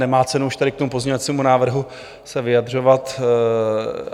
Nemá cenu už tady k tomu pozměňovacímu návrhu se vyjadřovat.